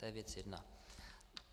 To je věc jedna.